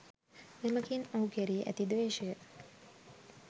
එමගින් ඔහු කෙරෙහි ඇති ද්වේශය